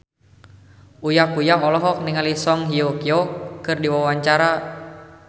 Uya Kuya olohok ningali Song Hye Kyo keur diwawancara